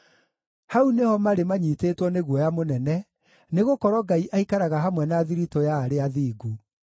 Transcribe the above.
Hau nĩho marĩ manyiitĩtwo nĩ guoya mũnene, nĩgũkorwo Ngai aikaraga hamwe na thiritũ ya arĩa athingu.